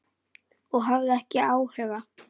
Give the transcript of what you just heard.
Og hafði ekki áhuga.